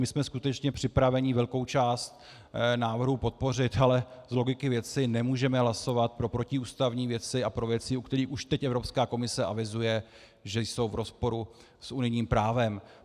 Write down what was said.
My jsme skutečně připraveni velkou část návrhu podpořit, ale z logiky věci nemůžeme hlasovat pro protiústavní věci a pro věci, u kterých už teď Evropská komise avizuje, že jsou v rozporu s unijním právem.